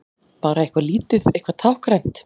Bara eitthvað lítið, eitthvað táknrænt.